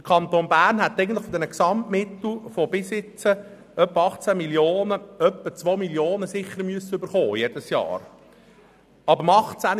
Der Kanton Bern hätte von diesen Gesamtmitteln in der Höhe von circa 18 Mio. Franken jedes Jahr bestimmt zirka 2 Mio. Franken erhalten sollen.